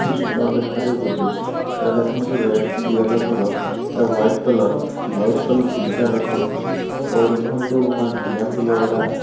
କି ସୁନ୍ଦର ଦେଖାଯାଉଚି ଯେ ଏଟା ଦେଖନ୍ତୁ ରେଡ ୟଲୋ କଲର ଏଟା ୱାଇଟ କଲର ଇ ୱାଇଟ କଲର ତିନ ଚାର ରକମ ଅଛି ଏପଟ ଦେଖନ୍ତୁ ମା ଢାଲିଆ ଫୁଲ ଏଇଡା --